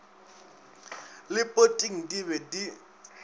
le poting di be di